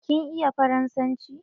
Kin iya faransanci?